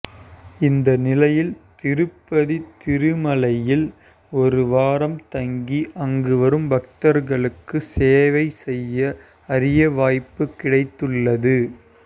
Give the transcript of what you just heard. இந்த நிலையில் திருப்பதி திருமலையில் ஒரு வாரம் தங்கி அங்கு வரும் பக்தர்களுக்கு சேவை செய்ய அரிய வாய்ப்பு கிடைத்துள்ளது